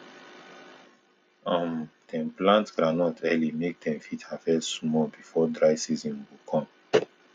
um dem plant groundnut early make dem fit harvest small before dry season go come